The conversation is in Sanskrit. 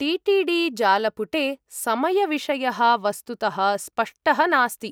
टि.टि.डि. जालपुटे समयविषयः वस्तुतः स्पष्टः नास्ति।